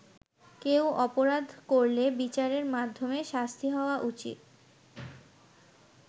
কেউ অপরাধ করলে বিচারের মাধ্যমে শাস্তি হওয়া উচিত।